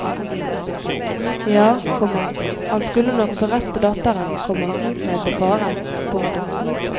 Ja, komma han skulle nok få rett på datteren, komma mente faren. punktum